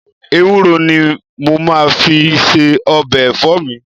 Ewúro ni mo máa fi ń se ọbẹ̀ ẹ̀fọ́ mi